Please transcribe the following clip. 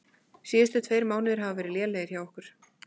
Síðustu tveir mánuðir hafa verið lélegir hjá okkur.